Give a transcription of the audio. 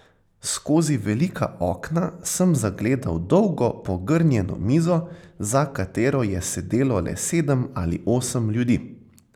Skozi velika okna sem zagledal dolgo pogrnjeno mizo, za katero je sedelo le sedem ali osem ljudi.